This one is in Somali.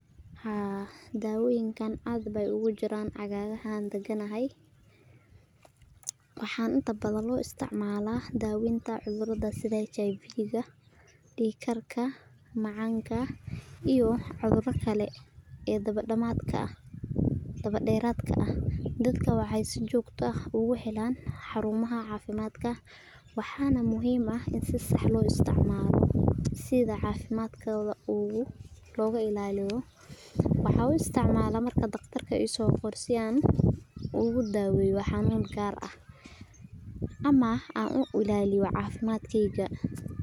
Haa dawoyinka aad bay ugujiran aagahan daganahay, waxa intabadan loisticmala daweynta cudurada sida hiv diig karka macanka iyo wah cudura kale ee dawa deratka ah, dadka waxay si jogto ah uguhelan harumaha cafimadka, waxana lagahela si sax loisticmalo, sida cafimadka logailaliyo, mawa uisticmala dagtarka isogore ogudaweyo u gaar ah, ama aan uilaliyo cafimadkeyga.